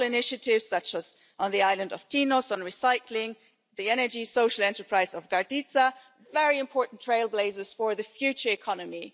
Local initiatives, such as on the island of Tinos on recycling and the energy social enterprise in Karditsa, are very important trailblazers for the future economy.